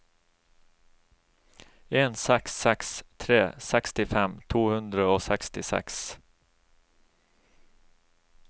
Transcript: en seks seks tre sekstifem to hundre og sekstiseks